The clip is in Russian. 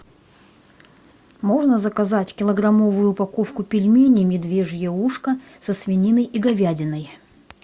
можно заказать килограммовую упаковку пельменей медвежье ушко со свининой и говядиной